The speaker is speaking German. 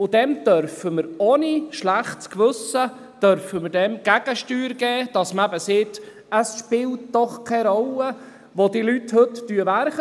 Dem dürfen wir ohne schlechtes Gewissen Gegensteuer geben und sagen: Es spielt doch keine Rolle, wo die Leute heute arbeiten.